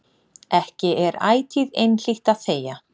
Ekki er ætíð einhlítt að þegja.